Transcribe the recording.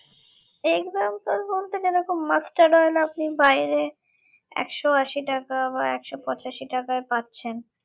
example বলতে যেরকম mustard oil আপনি বাহিরে একশ আশি টাকা বা একশ পঁচাশি টাকায় পাচ্ছেন